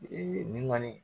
Ee nin kɔni